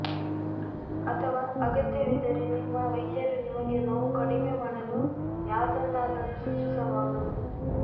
ಅಥವಾ ಅಗತ್ಯವಿದ್ದರೆ ನಿಮ್ಮ ವೈದ್ಯರು ನಿಮಗೆ ನೋವು ಕಡಿಮೆ ಮಾಡಲು ಯಾವುದನ್ನಾದರೂ ಸೂಚಿಸಬಹುದು